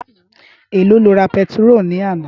Éló ló rá pètiró làná?